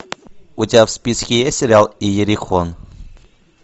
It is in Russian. у тебя в списке есть сериал иерихон